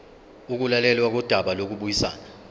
ukulalelwa kodaba lokubuyisana